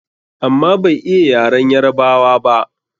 Amma bai iya yaren Yarabawa ba.